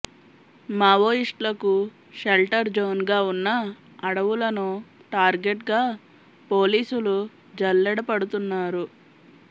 మావోయిస్టులకు షెల్టర్ జోన్గా ఉన్న అడవులను టార్గెట్గా పోలీసులు జల్లెడ పడుతున్నారు